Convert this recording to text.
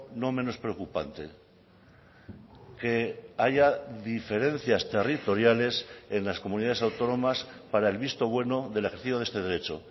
no menos preocupante que haya diferencias territoriales en las comunidades autónomas para el visto bueno del ejercicio de este derecho